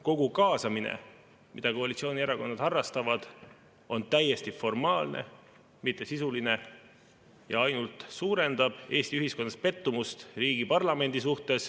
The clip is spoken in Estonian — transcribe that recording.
Kogu kaasamine, mida koalitsioonierakonnad harrastavad, on täiesti formaalne, mitte sisuline, ja see ainult suurendab Eesti ühiskonnas pettumust riigi parlamendis.